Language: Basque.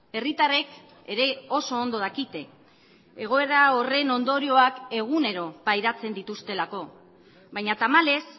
herritarrek ere oso ondo dakite egoera horren ondorioak egunero pairatzen dituztelako baina tamalez